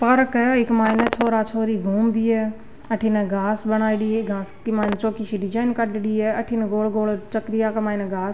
park है एक मैंने छोर छोरी घूम री है अठीने घास बनाएड़ी है घास में चोखी सी डिजाइन कर रेडी है अठीने गोल गोल चक्रीय बनाये घास --